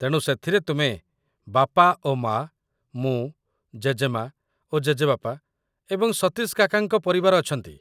ତେଣୁ ସେଥିରେ ତୁମେ, ବାପା ଓ ମା, ମୁଁ, ଜେଜେମା ଓ ଜେଜେବାପା ଏବଂ ସତୀଶ କାକାଙ୍କ ପରିବାର ଅଛନ୍ତି।